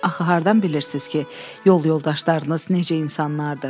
Axı hardan bilirsiz ki, yol yoldaşlarınız necə insanlardır?